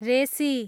रेसी